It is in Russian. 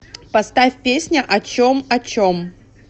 поставь песня о чем о чем